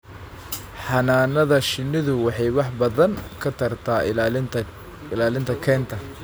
Xannaanada shinnidu waxay wax badan ka tartaa ilaalinta kaynta.